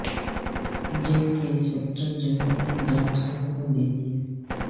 jail کے inspector general نے جانچ کے حکم دیے